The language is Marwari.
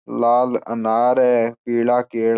लाल अनार है पीला केला--